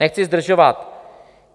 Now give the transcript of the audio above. Nechci zdržovat.